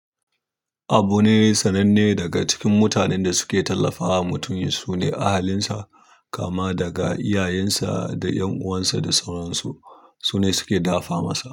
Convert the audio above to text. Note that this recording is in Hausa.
Abu ne sananne daga cikin mutanen da suke tallafawa mutum su ne ahalinsa kama daga iyayensa da 'yan uwansa da sauransu. Su ne suke dafa masa.